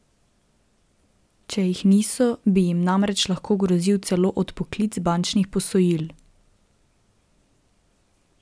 Če jih niso, bi jim namreč lahko grozil celo odpoklic bančnih posojil.